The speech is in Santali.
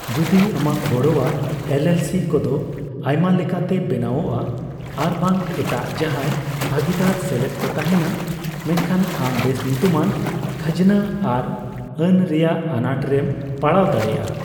ᱡᱩᱫᱤ ᱟᱢᱟᱜ ᱜᱚᱲᱚᱣᱟᱜ ᱮᱞᱹᱮᱞᱹᱥᱤᱹ ᱠᱚᱫᱚ ᱟᱭᱢᱟ ᱞᱮᱠᱟᱛᱮ ᱵᱮᱱᱟᱣᱚᱜᱼᱟ ᱟᱨᱵᱟᱝ ᱮᱴᱟᱜ ᱡᱟᱦᱟᱸᱭ ᱵᱷᱟᱹᱜᱤᱫᱟᱨ ᱥᱮᱞᱮᱫ ᱠᱚ ᱛᱟᱦᱮᱸᱱᱟ, ᱢᱮᱱᱠᱷᱟᱱ ᱟᱢ ᱵᱮᱥ ᱧᱩᱛᱩᱢᱟᱱ ᱠᱷᱟᱡᱽᱱᱟ ᱟᱨ ᱟᱹᱱ ᱨᱮᱭᱟᱜ ᱟᱱᱟᱴ ᱨᱮᱢ ᱯᱟᱲᱟᱣ ᱫᱟᱲᱮᱭᱟᱜᱼᱟ ᱾